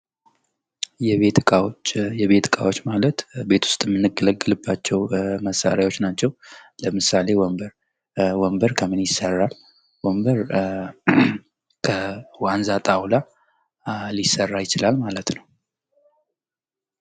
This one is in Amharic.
የቤት ዕቃዎች ማለት ቤት ውስጥ የምንገለገልባቸው መሣሪያዎች ናቸው። ለምሳሌ ወንበር ወንበር ከምን ይሠራል? ወንበር ከዋንዛ ጣውላ ሊሰራ ይችላል ማለት ነው።